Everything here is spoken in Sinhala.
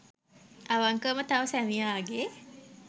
අවංකවම තම සැමියාගේ